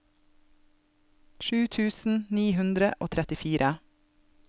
sju tusen ni hundre og trettifire